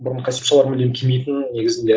бұрын костюм шалбар мүлдем кимейтінмін негізінде